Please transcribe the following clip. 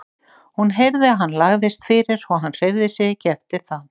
Hún heyrði að hann lagðist fyrir og hann hreyfði sig ekki eftir það.